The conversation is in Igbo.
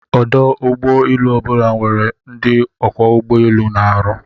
Ọdụ ụgbọ elu obula nwere ndi Ọkwọ ugbo elu na-arụ